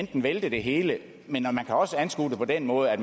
kan vælte det hele men man kan også anskue det på den måde at